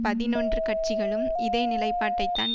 பதினொன்று கட்சிகளும் இதே நிலைப்பாட்டைத்தான்